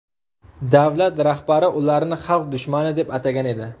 Davlat rahbari ularni xalq dushmani deb atagan edi.